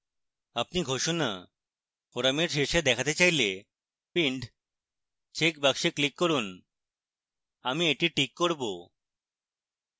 আপনি ঘোষণা forum শীর্ষে দেখাতে চাইলে pinned checkbox click করুন